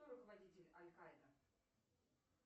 кто руководитель аль каида